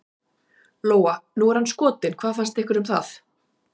Lóa: Nú er hann skotinn, hvað fannst ykkur um það?